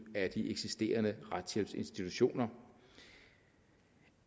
af de eksisterende retshjælpsinstitutioner